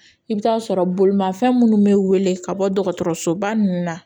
I bɛ taa sɔrɔ bolimafɛn minnu bɛ wele ka bɔ dɔgɔtɔrɔso ba ninnu na